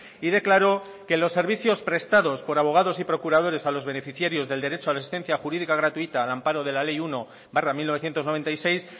y declaró que los servicios prestados por abogados y procuradores a los beneficiarios del derecho a la asistencia jurídica gratuita al amparo de la ley uno barra mil novecientos noventa y seis